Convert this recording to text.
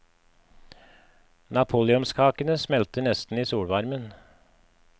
Napoleonskakene smelter nesten i solvarmen.